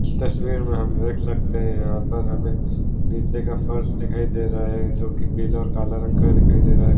इस तस्वीर में हम देख सकते है यहाँ पर हमें नीचे का फ़र्श दिखाई दे रहा है जो की पीला और काला रंग का ही दिखाई दे रहा है।